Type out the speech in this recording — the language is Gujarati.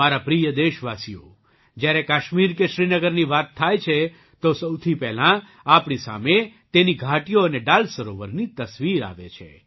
મારા પ્રિય દેશવાસીઓ જ્યારે કાશ્મીર કે શ્રીનગરની વાત થાય છે તો સૌથી પહેલાં આપણી સામે તેની ઘાટીઓ અને ડલ સરોવરની તસવીર આવે છે